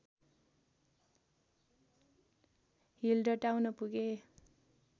हिल्डटाउन पुगे